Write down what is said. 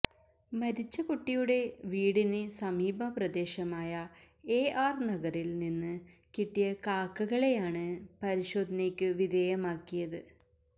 മരിച്ച കുട്ടിയുടെ വീടിന് സമീപ പ്രദേശമായ എ ആര് നഗറില് നിന്ന് കിട്ടിയ കാക്കകളെയാണ് പരിശോധനയ്ക്ക് വിധേയമാക്കിയത്